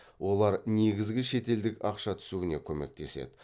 ол негізгі шетелдік ақша түсуіне көмектеседі